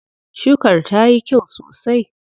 Shukar tayi kyau sosai.